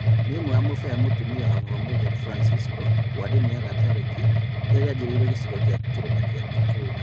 Nĩ ũmwe wa mũbĩa mũtumia wa baba Mũtheru Francisco, wa ndini ya gatoreki rĩrĩa rĩanjĩrĩirwo gĩcigo gĩa kĩrĩma gĩa kĩrĩnyaga